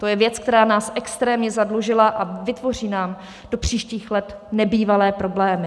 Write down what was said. To je věc, která nás extrémně zadlužila a vytvoří nám do příštích let nebývalé problémy.